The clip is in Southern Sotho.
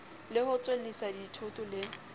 le ho tswellisa dithoto le